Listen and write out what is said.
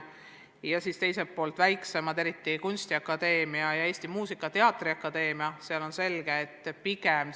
Teiselt poolt on eriti kunstiakadeemias ja Eesti Muusika- ja Teatriakadeemias ressursid väiksemad.